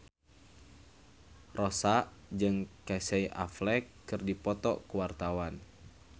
Rossa jeung Casey Affleck keur dipoto ku wartawan